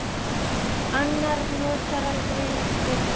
Annar notar aldrei lyftur.